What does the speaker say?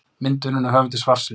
Mynd unnin af höfundi svarsins.